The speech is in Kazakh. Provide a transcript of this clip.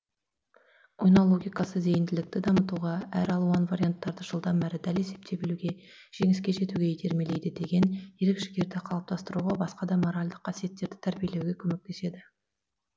ойнау логикасы зейінділікті дамытуға әр алуан варианттарды жылдам әрі дәл есептей білуге жеңіске жетуге итермелейді деген ерік жігерді қалыптастыруға басқа да моральдық қасиеттерді тәрбиелеуге көмектеседі